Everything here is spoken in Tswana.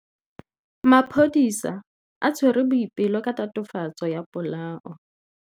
Maphodisa a tshwere Boipelo ka tatofatsô ya polaô.